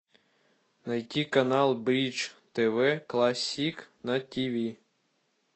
найти канал бридж тв классик на ти ви